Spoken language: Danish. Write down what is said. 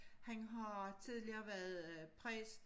Han har tidligere været øh præst